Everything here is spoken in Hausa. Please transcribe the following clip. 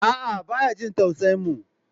A'a baya jin tausayin mu.